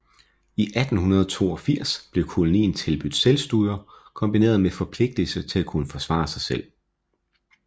I 1882 blev kolonien tilbudt selvstyre kombineret med forpligtelse til at kunne forsvare sig selv